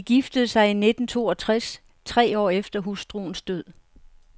De giftede sig i nitten to og tres, tre år efter hustruens død.